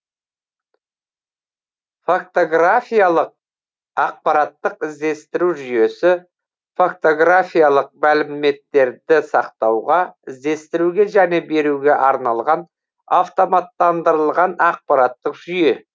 фактографиялық ақпараттық іздестіру жүйесі фактографиялық мәліметтерді сақтауға іздестіруге және беруге арналған автоматтандырылған ақпараттық жүйе